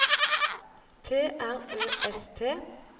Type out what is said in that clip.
T R Ø S T